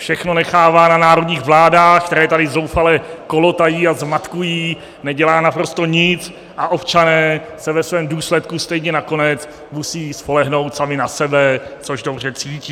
Všechno nechává na národních vládách, které tady zoufale kolotají a zmatkují, nedělá naprosto nic a občané se ve svém důsledku stejně nakonec musí spolehnout sami na sebe, což dobře cítí.